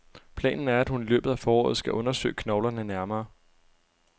Planen er, at hun i løbet af foråret skal undersøge knoglerne nærmere.